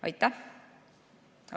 Aitäh!